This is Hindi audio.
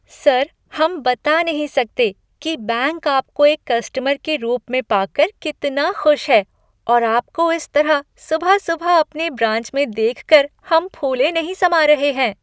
सर, हम बता नहीं सकते कि बैंक आपको एक कस्टमर के रूप में पाकर कितना खुश है और आपको इस तरह सुबह सुबह अपने ब्रांच में देखकर हम फूले नहीं समा रहे हैं!